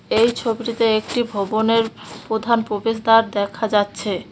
এই ছবিটিতে একটি ভবনের প্রধান প্রবেশদ্বার দেখা যাচ্ছে।